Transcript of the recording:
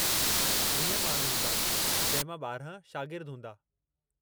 वीह माण्हू हूंदा जंहिं मां ॿारिहां शागिर्द हूंदा।